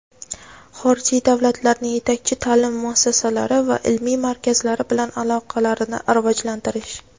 xorijiy davlatlarning yetakchi taʼlim muassasalari va ilmiy markazlari bilan aloqalarni rivojlantirish.